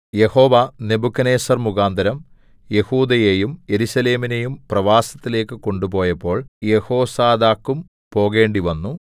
യഹോവാ നെബൂഖദ്നേസ്സർ മുഖാന്തരം യെഹൂദയെയും യെരൂശലേമിനെയും പ്രവാസത്തിലേക്ക് കൊണ്ടുപോയപ്പോൾ യെഹോസാദാക്കും പോകേണ്ടിവന്നു